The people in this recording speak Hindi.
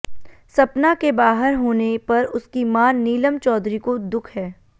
सपना के बाहर होने पर उसकी मां नीलम चौधरी को दुख है